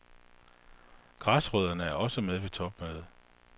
Græsrødderne er også med på topmødet.